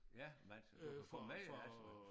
Ja men altså du kan få mail altså